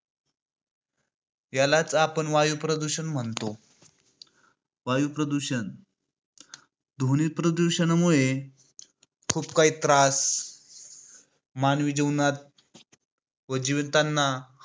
त्यालाच आपण वायुप्रदूषण म्हणतो. वायुप्रदूषण. ध्वनी प्रदूषणामुळे खूप काही त्रास मानवी जीवनात व जीवतांना